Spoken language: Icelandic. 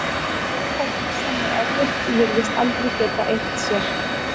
Fólk sem er ofvirkt virðist aldrei geta eirt sér.